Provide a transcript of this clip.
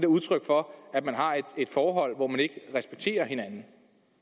udtryk for at man har et forhold hvor man ikke respekterer hinanden